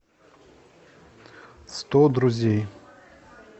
сто друзей